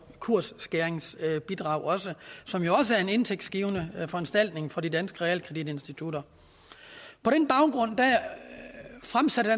kursskæringsbidrag som jo også er en indtægtsgivende foranstaltning for de danske realkreditinstitutter på den baggrund fremsatte